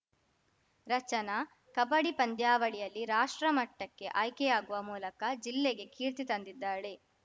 ರಚನಾ ಕಬಡ್ಡಿ ಪಂದ್ಯಾವಳಿಯಲ್ಲಿ ರಾಷ್ಟ್ರಮಟ್ಟಕ್ಕೆ ಆಯ್ಕೆಯಾಗುವ ಮೂಲಕ ಜಿಲ್ಲೆಗೆ ಕೀರ್ತಿ ತಂದಿದ್ದಾಳೆ